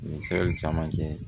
Nin fɛn in caman kɛ